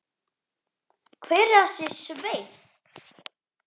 Hver er þessi Sveinn?